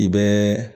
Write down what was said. I bɛɛ